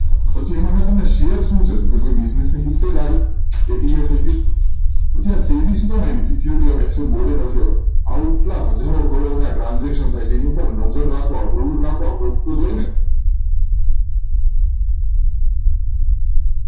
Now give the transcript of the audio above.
પછી એમાંથી શેર શું છે તો business ની હિસ્સેદારી એક ની યા બીજી પછી આ SEBI શું કામ આવ્યું security exchange board of india આ ઉપરાંત હજારો કરોડોના transaction થાય છે એની ઉપર નજર રાખવા કોક તો જોઈએ ને